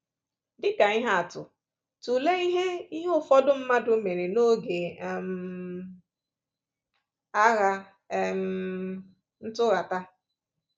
Dị ka ihe atụ, tụlee ihe ihe ụfọdụ mmadụ mere n’oge um Agha um Ntụghata.